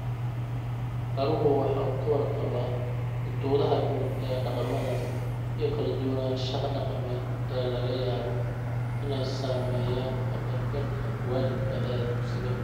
Baruhu waxa uu ka warqabaa xuduudaha guud ee dhaqamadaas iyo kala duwanaanshaha dhaqameed ee laga yaabo inay saameeyaan ka qaybgalka waalidka ee dugsiga.